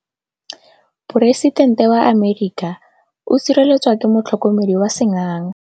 Poresitêntê wa Amerika o sireletswa ke motlhokomedi wa sengaga.